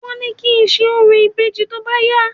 Wọ́n ní kí ń ṣe orò ìbejì tóbá yá